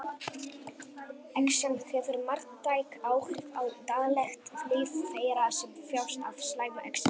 Exem hefur marktæk áhrif á daglegt líf þeirra sem þjást af slæmu exemi.